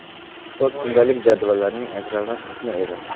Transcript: Sport kundalik jadvallarining ajralmas qismi edi.